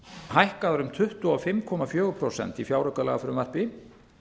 hækkaðar um tuttugu og fimm komma fjögur prósent í fjáraukalagafrumvarpi